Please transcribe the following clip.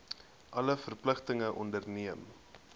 alle verpligtinge onderneem